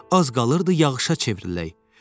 Az qaldıydıq yağışa çevrilək.